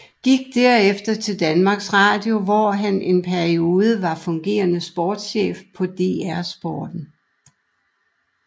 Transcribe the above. Gik derefter til og Danmarks Radio hvor han en periode var fungerende sportschef på DR Sporten